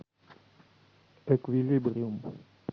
эквилибриум